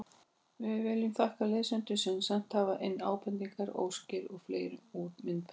Við viljum þakka lesendum sem sent hafa inn ábendingar, óskir og fleira um myndböndin.